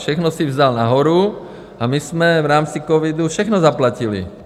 Všechno si vzal nahoru a my jsme v rámci covidu všechno zaplatili.